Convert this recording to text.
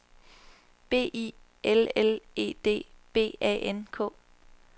B I L L E D B A N K